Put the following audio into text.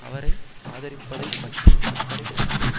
அவரை ஆதரிப்பதை பற்றி அக்கறை செலுத்துவேன்